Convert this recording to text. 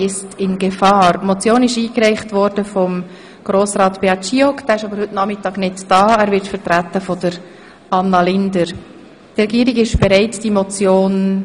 Die Motion unter Traktandum 10 wurde von Herrn Grossrat Giauque eingereicht.